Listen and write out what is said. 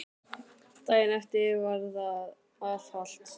Daginn eftir var það var afhalt.